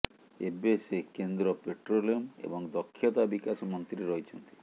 ଏବେ ସେ କେନ୍ଦ୍ର ପେଟ୍ରୋଲିୟମ ଏବଂ ଦକ୍ଷତା ବିକାଶ ମନ୍ତ୍ରୀ ରହିଛନ୍ତି